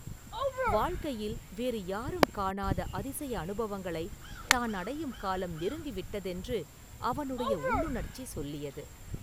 வாழ்க்கையில் வேறு யாரும் காணாத அதிசய அனுபவங்களைத் தான் அடையும் காலம் நெருங்கி விட்டதென்று அவனுடைய உள்ளுணர்ச்சி சொல்லியது.